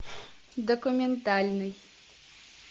документальный